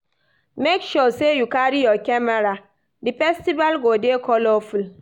Make sure sey you carry your camera, di festival go dey colorful